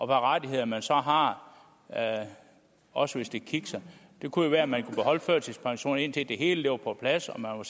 rettigheder man så har også hvis det kikser det kunne jo være at man kunne beholde førtidspensionen indtil det hele var på plads og